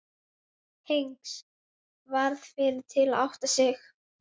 Og orð mín sameinast þessum hugsunum.